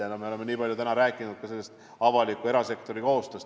Me oleme täna nii palju rääkinud ka avaliku ja erasektori koostööst.